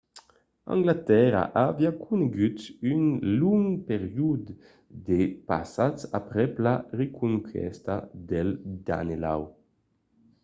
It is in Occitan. anglatèrra aviá conegut un long periòde de patz aprèp la reconquèsta del danelaw